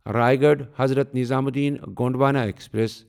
Raigarh Hazrat Nizamuddin Gondwana express